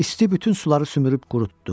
İsti bütün suları sümürüb qurutdu.